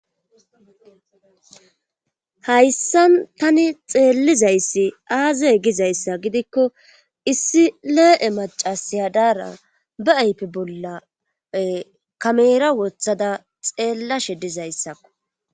Hayssa tani xeellizayssi aaze gizayssa gidikko issi lee'e macasi hadaara bee aype bolla kamera woththada xeellashshe dizayssakko